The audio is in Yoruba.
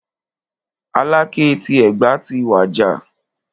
Aláké ti Ẹ̀gbá ti wàjà.